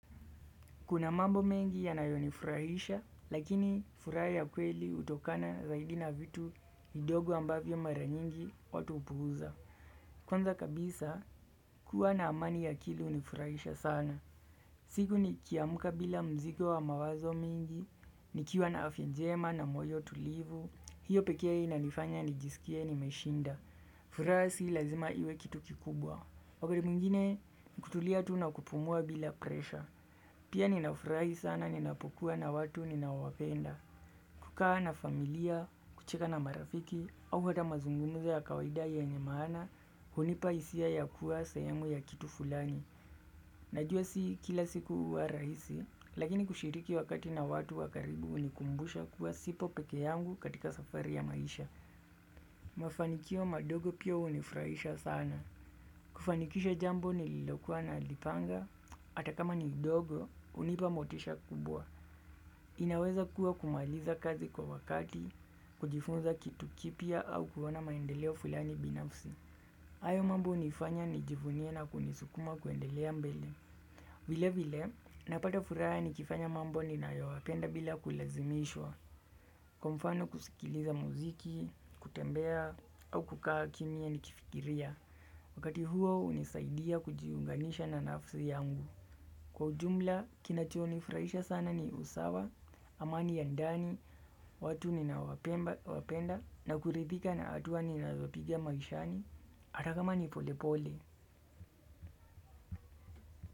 Kuna mambo mengi yanayonifurahisha, lakini furaha ya kweli hutokana zaidi na vitu kidogo ambavyo mara nyingi watu hupuuza. Kwanza kabisa, kuwa na amani ya akili hunifurahisha sana. Siku nikiamka bila mzigo wa mawazo mingi, nikiwa na afya njema na moyo tulivu, hiyo pekee inanifanya nijisikie nimeshinda. Furaha si lazima iwe kitu kikubwa. Wakati mwingine, kutulia tu nakupumua bila presha. Pia ninafurahi sana ninapokuwa na watu ninaowapenda. Kukaa na familia, kuchika na marafiki, au kata mazungumzo ya kawaida yenye maana, hunipaisia ya kuwa sehemu ya kitu fulani. Najua si kila siku wa rahisi, lakini kushiriki wakati na watu wakaribu unikumbusha kuwa sipo pekee yangu katika safari ya maisha. Mafanikio madogo pio unifurahisha sana. Kufanikisha jambo nililokuwa na lipanga, atakama ni idogo, unipa motisha kubwa. Inaweza kuwa kumaliza kazi kwa wakati, kujifunza kitu kipia au kuhona maendeleo fulani binafsi. Hayo mambo hunifanya nijivunie na kunisukuma kuendelea mbele. Vile vile, napata furaha nikifanya mambo ninayoyapenda bila kulazimishwa, kwa mfano kusikiliza muziki, kutembea, au kukaa kimya ni kifikiria, wakati huo unisaidia kujiunganisha na nafsi yangu. Kwa ujumla, kinachonifurahisha sana ni usawa, amani ya ndani, watu ninaowapenda, na kuridhika na hatua ninazopiga maishani, ata kama ni pole pole.